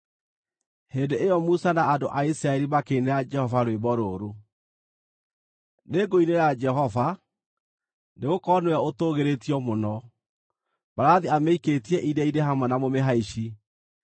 Hĩndĩ ĩyo Musa na andũ a Isiraeli makĩinĩra Jehova rwĩmbo rũrũ: “Nĩngũinĩra Jehova, nĩgũkorwo nĩwe ũtũũgĩrĩtio mũno. Mbarathi amĩikĩtie iria-inĩ hamwe na mũmĩhaici.